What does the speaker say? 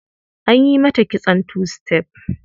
An yi mata kitson two step.